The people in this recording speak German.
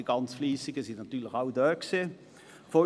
Die ganz Fleissigen unter uns waren natürlich alle zugegen.